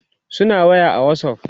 suna waya a Whatsapp